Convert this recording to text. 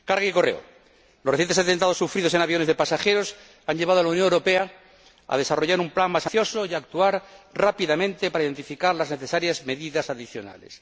Carga y correo los recientes atentados sufridos en aviones de pasajeros han llevado a la Unión Europea a desarrollar un plan más ambicioso y a actuar rápidamente para identificar las necesarias medidas adicionales.